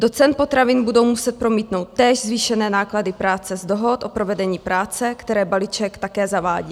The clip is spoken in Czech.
Do cen potravin budou muset promítnout též zvýšené náklady práce z dohod o provedení práce, které balíček také zavádí.